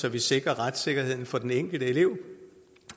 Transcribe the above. at vi sikrer retssikkerheden for den enkelte elev